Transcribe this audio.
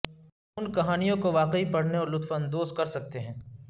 ان کہانیوں کو واقعی پڑھنے اور لطف اندوز کر سکتے ہیں